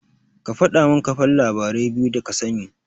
Ka faɗamin kafan labarai biyu da kasani.